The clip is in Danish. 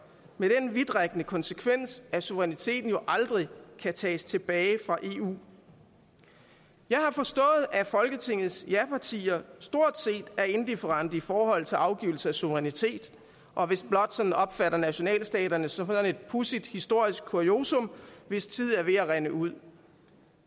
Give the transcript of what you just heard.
med den vidtrækkende konsekvens at suveræniteten jo aldrig kan tages tilbage fra eu jeg har forstået at folketingets japartier stort set er indifferente i forhold til afgivelse af suverænitet og vist blot opfatter nationalstaterne som et pudsigt historisk kuriosum hvis tid er ved at rinde ud